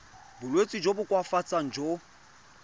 bolwetsi jo bo koafatsang jo